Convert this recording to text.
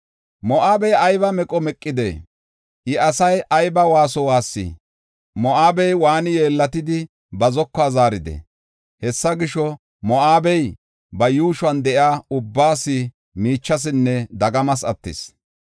Moo7abey aybi meqo meqide! Iya asay aybi waaso waassi! Moo7abe waani yeellatidi, ba zokuwa zaaridee? Hessa gisho, Moo7abey ba yuushuwan de7iya ubbaas miichasinne dagamas attis.